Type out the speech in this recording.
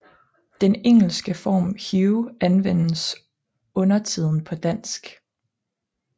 Den engelske form Hugh anvendes undertiden på dansk